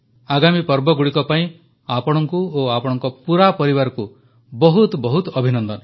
ଆଗାମୀ ପର୍ବଗୁଡ଼ିକ ପାଇଁ ଆପଣଙ୍କୁ ଓ ଆପଣଙ୍କ ପୂରା ପରିବାରକୁ ବହୁତ ବହୁତ ଅଭିନନ୍ଦନ